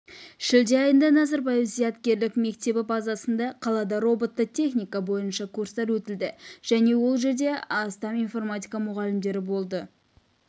шілде айында назарбаев зияткерлік мектебі базасында қалада роботты техника бойынша курстар өтілді және ол жерде астам инфрпматика мұғалімдері болды